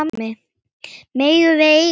Megum við eiga það?